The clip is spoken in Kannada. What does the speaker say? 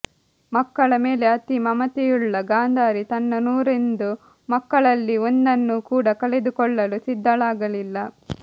ಮಕ್ಕಳ ಮೇಲೆ ಅತಿ ಮಮತೆಯುಳ್ಳ ಗಾಂಧಾರಿ ತನ್ನ ನೂರೊಂದು ಮಕ್ಕಳಲ್ಲಿ ಒಂದನ್ನು ಕೂಡ ಕಳೆದುಕೊಳ್ಳಲು ಸಿದ್ಧಳಾಗಲಿಲ್ಲ